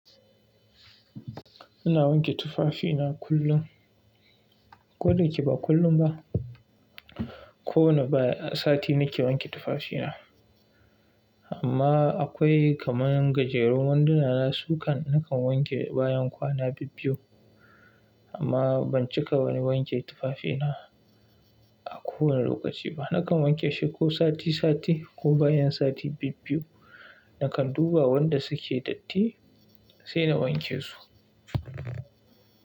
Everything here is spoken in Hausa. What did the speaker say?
Ina wanke tufafina kullum, ko dayake ba kullum ba. Ko wane baya sati nake wanke tufafina. Amma akwai kamar gajerun wanduna na sukan nakan wanke bayan kwana bibbiyu. Amma ban cika wani wanke tufafina a kowane lokaci ba. Nakan wanke shi ko sati sati ko bayan sati bibbiyu. Nakan duba wanda suke datti sai na wanke su.